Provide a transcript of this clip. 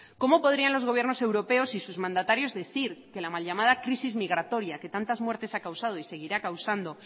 cómo podrían los gobiernos europeos y sus mandatarios decir que la mal llamada crisis migratoria que tantas muertes ha causado y seguirá causando